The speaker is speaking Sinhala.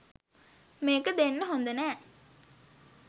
මේක දෙන්න හොඳ නෑ.